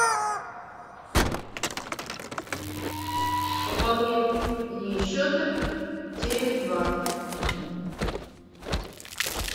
пополнение счета теле два